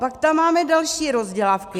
Pak tam máme další rozdělávky.